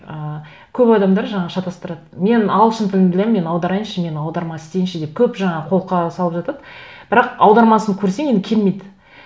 ыыы көп адамдар жаңа шатастырады мен ағылшын тілін білемін мен аударайыншы мен аударма істейінші деп көп жаңа қолқа салып жатады бірақ аудармасын көрсең енді келмейді